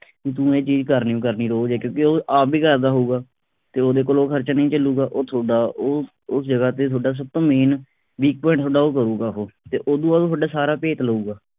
ਬਈ ਤੂੰ ਇਹ ਚੀਜ ਘਰ ਨਹੀਂ ਓ ਕਰਨੀ ਰੋਜ ਕਿਉਕਿ ਉਹ ਆਪ ਵੀ ਕਰਦਾ ਹਊਗਾ ਤੇ ਉਹਦੇ ਕੋਲੋ ਉਹ ਖਰਚਾ ਨਹੀਂ ਚਲੂਗਾ ਉਹ ਥੋਡਾ ਉਹ ਉਸ ਜਗ੍ਹਾ ਤੇ ਥੋਡਾ ਸਭ ਤੋਂ main weak point ਥੋਡਾ ਉਹ ਕਰੂੰਗਾ ਉਹ ਤੇ ਉਹ ਤੋਂ ਬਾਅਦ ਤੁਹਾਡਾ ਸਾਰਾ ਭੇਤ ਲਊਗਾ।